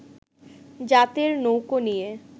জাতের নৌকো নিয়ে